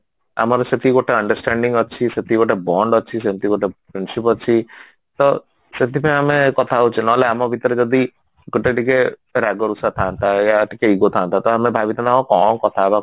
ଆମର ସେତିକି ଗୋଟେ understanding ଅଛି ସେତିକି ଗୋଟେ bond ଅଛି ଯେମତି ଗୋଟେ friendship ଅଛି ତ ସେଥିପାଇଁ ଆମେ କଥା ହଉଛେ ନହେଲେ ଆମ ଭିତରେ ଯଦି ଗୋଟେ ଟିକେ ରାଗ ରୁଷା ଥାଆନ୍ତା ୟା ଟିକେ ego ଥାଆନ୍ତା ତ ଆମେ ଭାବିଥାନ୍ତୁ ହଁ କଣ କଥା ହବା